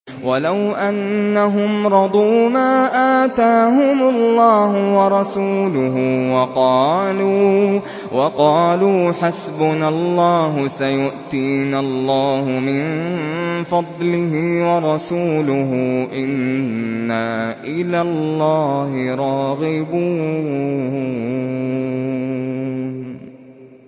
وَلَوْ أَنَّهُمْ رَضُوا مَا آتَاهُمُ اللَّهُ وَرَسُولُهُ وَقَالُوا حَسْبُنَا اللَّهُ سَيُؤْتِينَا اللَّهُ مِن فَضْلِهِ وَرَسُولُهُ إِنَّا إِلَى اللَّهِ رَاغِبُونَ